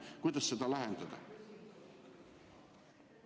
Kuidas seda lahendada?